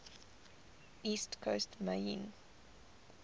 east coast maine